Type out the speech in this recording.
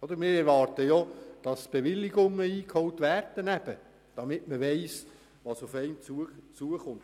Wir erwarten, dass Bewilligungen eingeholt werden, damit man weiss, was auf einen zukommt.